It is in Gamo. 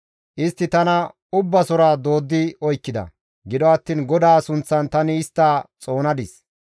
Istti tana ubbasora dooddi oykkida; gido attiin GODAA sunththan tani istta xoonadis.